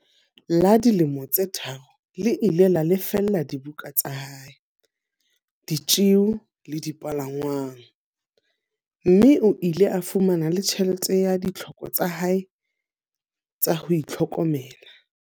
La dilemo tse tharo le ile la lefella dibuka tsa hae, ditjeo le dipalangwang, mme o ile a fumana le tjhelete ya ditlhoko tsa hae tsa ho itlhokomela.